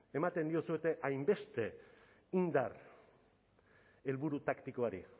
ematen diozue hainbeste indar helburu taktikoari